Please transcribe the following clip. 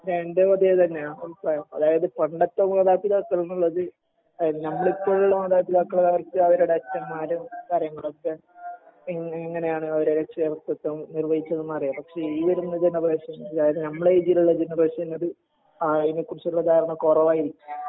എന്റേം അത് തന്നെയാ അഭിപ്രായം അതായത് പണ്ടത്തെ മാതാപിതാക്കള്‍ എന്നുള്ളത് ഞമ്മള് ഇപ്പൊ ഉള്ള മാതാപിതാക്കള് അവർക്ക് അവരുടെ അച്ചന്മാരും കാര്യങ്ങളൊക്കെ എങ്ങ് എങ്ങനെയാണ് അവരുടെ രക്ഷാകര്‍തൃത്വം നിർവഹിച്ചതെന്നറിയാം, പക്ഷെ ഈ വരുന്ന ജനറേഷൻ അതായത് നമ്മളെ എയിജിലുള്ള ജനറേഷന് അത് അയിനെക്കുറിച്ചുള്ള ധാരണ കുറവായിരിക്കും.